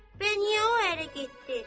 Bəs niyə o ərə getdi?